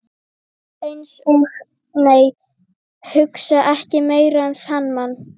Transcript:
Eins og- nei, hugsa ekki meira um þann mann!